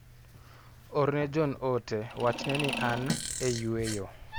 Orne John ote wachne ni an e yueyo.